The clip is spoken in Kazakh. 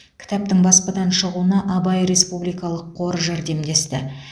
кітаптың баспадан шығуына абай республикалық қоры жәрдемдесті